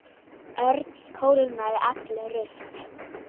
Örn kólnaði allur upp.